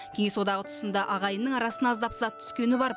кеңес одағы тұсында ағайынның арасына аздап сызат түскені бар